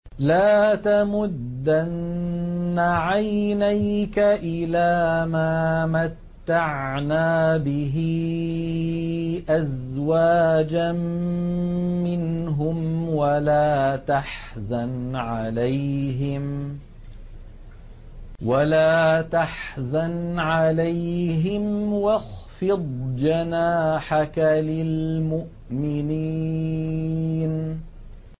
لَا تَمُدَّنَّ عَيْنَيْكَ إِلَىٰ مَا مَتَّعْنَا بِهِ أَزْوَاجًا مِّنْهُمْ وَلَا تَحْزَنْ عَلَيْهِمْ وَاخْفِضْ جَنَاحَكَ لِلْمُؤْمِنِينَ